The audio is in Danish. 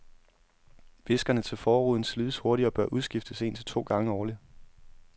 Viskerne til forruden slides hurtigt, og bør udskiftes en til to gange årligt.